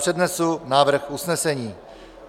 Přednesu návrh usnesení.